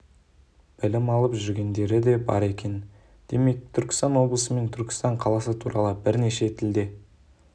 білім алып жүргендері де бар екен демек түркістан облысы мен түркістан қаласы туралы бірнеше тілде